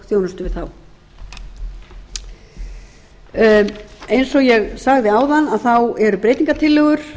þjónustu við þá eins og ég sagði áðan eru breytingartillögur